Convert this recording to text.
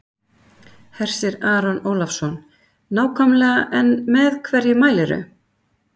Hersir Aron Ólafsson: Nákvæmlega en með hverju mælirðu?